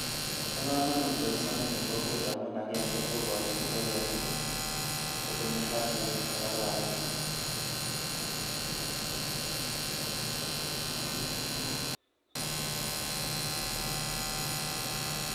Bo kamanut boisioni eng kokwet amun agenge, kokochin ngokenik kotinye afya ne kararan.